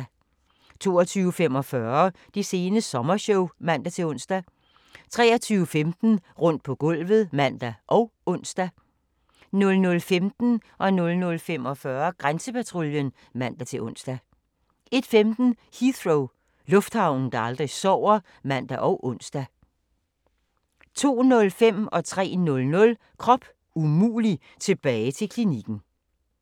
22:45: Det sene sommershow (man-ons) 23:15: Rundt på gulvet (man og ons) 00:15: Grænsepatruljen (man-ons) 00:45: Grænsepatruljen (man-ons) 01:15: Heathrow - lufthavnen, der aldrig sover (man og ons) 02:05: Krop umulig - tilbage til klinikken 03:00: Krop umulig - tilbage til klinikken